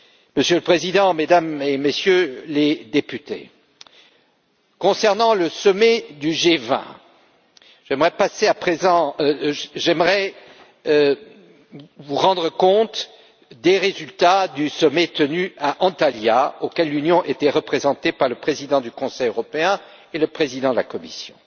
Monsieur le Président, Mesdames et Messieurs les députés, concernant le sommet du G20, j'aimerais à présent vous rendre compte des résultats du sommet tenu à Antalya, auquel l'Union était représentée par le président du Conseil européen et le président de la Commission.